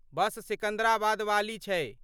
बस सिकन्दराबादवाली छै